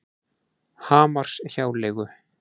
Hamarshjáleigu